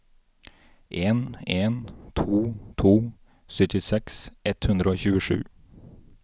en en to to syttiseks ett hundre og tjuesju